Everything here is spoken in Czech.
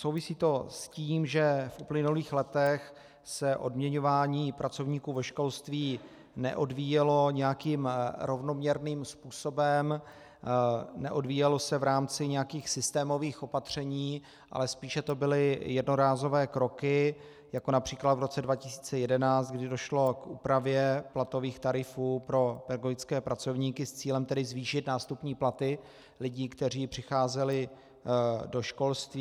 Souvisí to s tím, že v uplynulých letech se odměňování pracovníků ve školství neodvíjelo nějakým rovnoměrným způsobem, neodvíjelo se v rámci nějakých systémových opatření, ale spíše to byly jednorázové kroky, jako například v roce 2011, kdy došlo k úpravě platových tarifů pro pedagogické pracovníky s cílem tedy zvýšit nástupní platy lidí, kteří přicházeli do školství.